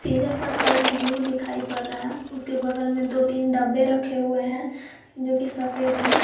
इधर का colour blue दिखाई पड़ रहा है उसके बगल में दो तीन डब्बे रखे हुए हैं जो कि सफेद हैं।